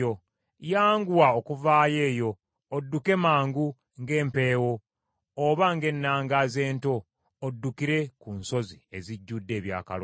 Yanguwa okuvaayo eyo, odduke mangu ng’empeewo oba ng’ennangaazi ento, oddukire ku nsozi ezijjudde ebyakaloosa.